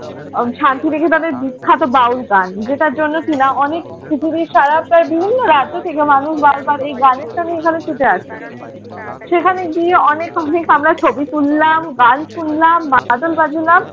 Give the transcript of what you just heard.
শান্তি নিকেতনের বিখ্যাত বাউল গান যেটার জন্য কিনা অনেক পৃথিবীর সারা প্রায় বিভিন্ন রাজ্য থেকে মানুষ বারবার এই গানের টানেই এখানে ছুটে আসে। সেখানে গিয়ে অনেক অনেক আমরা ছবি তুললাম, গান শুনলাম, মাদল বাজালাম,